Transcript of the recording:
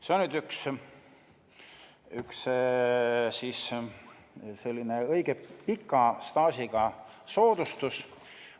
See on üks õige pika staažiga soodustus.